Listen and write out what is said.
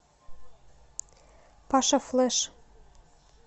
паша флэш